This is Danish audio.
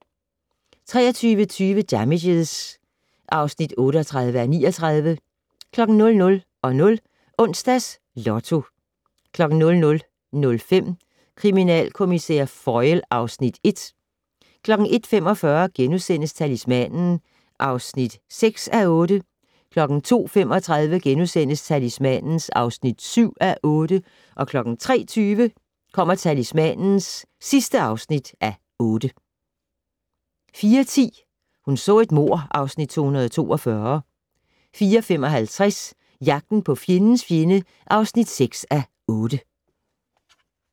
23:20: Damages (38:39) 00:00: Onsdags Lotto 00:05: Kriminalkommissær Foyle (Afs. 1) 01:45: Talismanen (6:8)* 02:35: Talismanen (7:8)* 03:20: Talismanen (8:8) 04:10: Hun så et mord (Afs. 242) 04:55: Jagten på fjendens fjende (6:8)